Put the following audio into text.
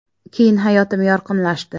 Keyin hayotim yorqinlashdi.